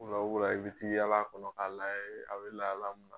Wula o wula i bɛ t'i yaal'a kɔnɔ k'a layɛ a be lahala mun na.